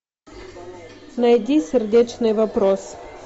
найди сердечный вопрос